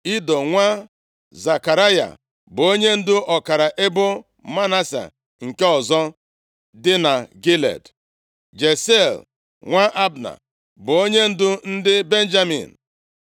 Ido nwa Zekaraya bụ onyendu ọkara ebo Manase nke ọzọ dị na Gilead; Jaasiel nwa Abna bụ onyendu ndị Benjamin;